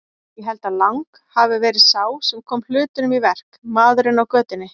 Ég held að Lang hafi verið sá sem kom hlutunum í verk, maðurinn á götunni.